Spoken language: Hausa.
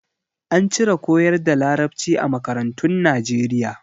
An cire koyar da Larabci a makarantun Nijeriya.